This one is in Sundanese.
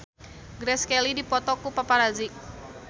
Grace Kelly dipoto ku paparazi